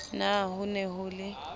na ho ne ho le